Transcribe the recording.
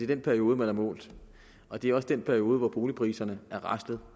den periode man har målt og det er også den periode hvor boligpriserne er raslet